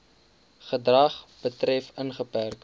gedrag betref ingeperk